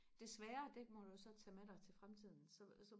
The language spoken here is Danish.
desværre det må du så tage med dig til fremtiden så så